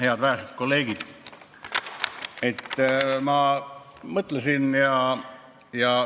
Head vähesed kolleegid!